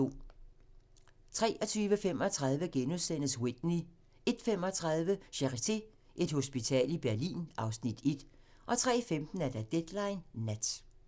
23:35: Whitney * 01:35: Charité - Et hospital i Berlin (Afs. 1) 03:15: Deadline Nat